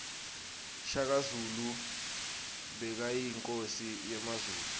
shaka zulu bekayinkosi yemazulu